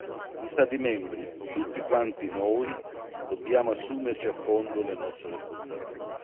gli Stati membri, tutti quanti noi, dobbiamo assumerci a fondo le nostre responsabilità.